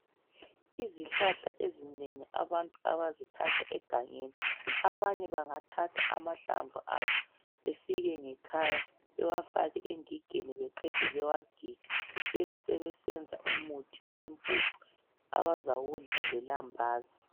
Izihlahla ezinengi abantu abazithatha egangeni, abanye bengathatha amahlamvu azo befike ngekhaya bewafake engigeni beqede bewagige. Bebesebesenza umuthi wempupu abazawudla lelambazi.